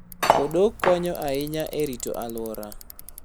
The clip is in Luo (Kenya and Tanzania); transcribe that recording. Odok konyo ahinya e rito alwora.